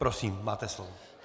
Prosím, máte slovo.